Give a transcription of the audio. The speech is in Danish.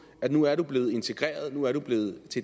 at nu er du blevet integreret nu er du blevet